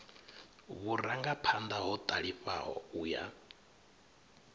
vhurangaphanḓa ho ṱalifhaho u ya